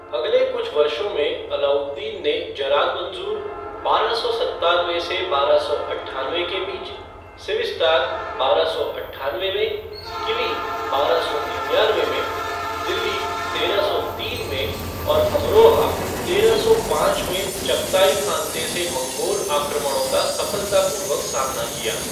अगले कुछ वर्षों में, अलाउद्दीन ने जरान मंजूर बारह सौ सत्तानवे से बारह सौ अट्ठानवे के बीच, सिविस्तान बारह सौ अट्ठानवे में, किली बारह सौ निन्यानवे में, दिल्ली तेरह सौ तीन में, और अमरोहा तेरह सौ पाँच में चगताई खानते से मंगोल आक्रमणों का सफलतापूर्वक सामना किया।